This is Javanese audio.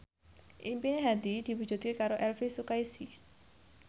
impine Hadi diwujudke karo Elvi Sukaesih